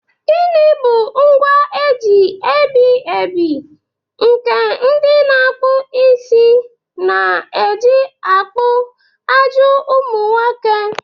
Gịnị bụ ngwa eji ebi ebi nke ndị na-akpụ isi na-eji akpụ ajị ụmụ nwoke?